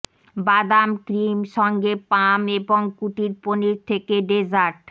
বাদাম ক্রিম সঙ্গে প্লাম এবং কুটির পনির থেকে ডেজার্ট